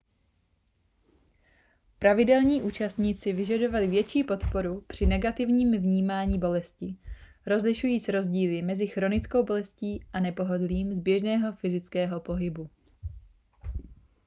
pravidelní účastníci vyžadovali větší podporu při negativním vnímání bolesti rozlišujíc rozdíly mezi chronickou bolestí a nepohodlím z běžného fyzického pohybu